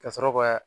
Ka sɔrɔ ka